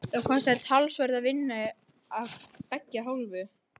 Þetta kostar talsverða vinnu af beggja hálfu.